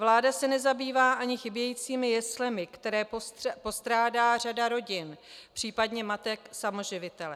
Vláda se nezabývá ani chybějícími jeslemi, které postrádá řada rodin, případně matek samoživitelek.